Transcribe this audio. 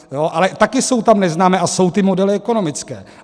Ale taky jsou tam neznámé a jsou ty modely ekonomické.